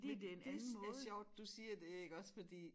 Men det er sjovt du siger det iggås fordi